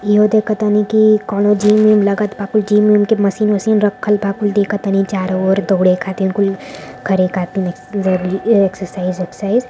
इहो देखतानी की कउनो जिम उम लगत बा कुल जिम उम के मशीन उशीन रखल बा कुल देखतानी चारो ओर दौड़े खातिर कुल करे खातिर एक्सेरसाइज ओक्सर्साइज़।